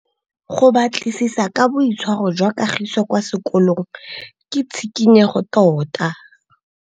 Go batlisisa ka boitshwaro jwa Kagiso kwa sekolong ke tshikinyêgô tota.